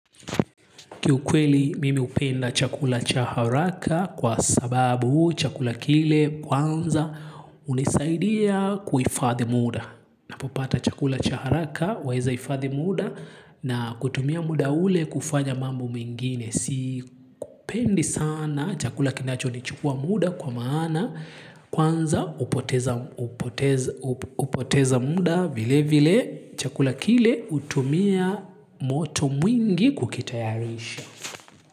Kiukweli, mimi upenda chakula cha haraka kwa sababu chakula kile kwanza unisaidia kuifadhi muda. Ninapopata chakula cha haraka, waeza hifadhi muda na kutumia muda ule kufanya mambo mingine. Sipendi sana chakula kinacho nichukua muda kwa maana kwanza upoteza muda vilevile chakula kile utumia moto mwingi kukitayarisha.